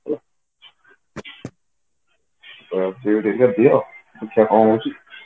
ତ CUET exam ଦିଅ ଦେଖିଆ କଣ ହଉଛି